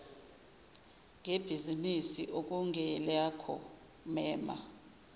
ngebhizinisi okungelakho mema